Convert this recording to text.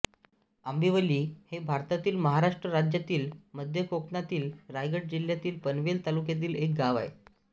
आंबिवली हे भारतातील महाराष्ट्र राज्यातील मध्य कोकणातील रायगड जिल्ह्यातील पनवेल तालुक्यातील एक गाव आहे